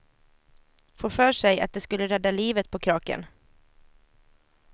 Får för sig att de skulle rädda livet på kraken.